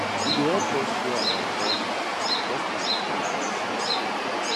e dey help us share our values customs and traditions